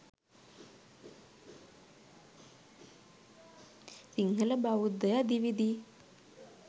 සිංහල බෞද්ධය දිවි දී